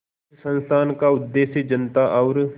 इस संस्थान का उद्देश्य जनता और